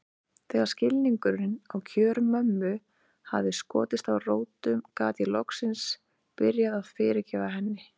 Þegar skilningurinn á kjörum mömmu hafði skotið rótum gat ég loksins byrjað að fyrirgefa henni.